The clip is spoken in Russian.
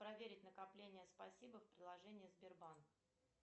проверить накопления спасибо в приложении сбербанк